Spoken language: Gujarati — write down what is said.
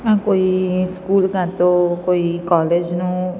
આ કોઈ સ્કૂલ કા તો કોઈ કૉલેજ નુ--